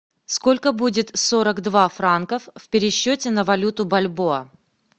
сколько будет сорок два франков в пересчете на валюту бальбоа